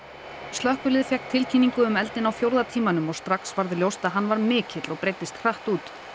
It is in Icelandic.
slökkvilið fékk tilkynningu um eldinn á fjórða tímanum og strax varð ljóst að hann var mikill og breiddist hratt út